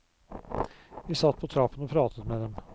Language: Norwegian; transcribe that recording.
Vi satt på trappen og pratet med dem.